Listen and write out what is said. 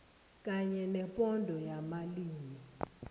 kanye nebhodo yamalimi